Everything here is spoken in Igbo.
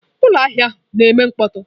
Ụlọ ahịa ahụ na-eme mkpọtụ.